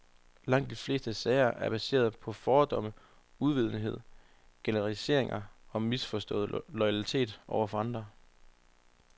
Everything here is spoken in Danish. Langt de fleste sager er baseret på fordomme, uvidenhed, generaliseringer og en misforstået loyalitet over for andre.